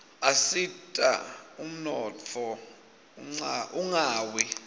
asita ummotfo unqawi